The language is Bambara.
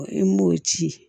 I m'o ci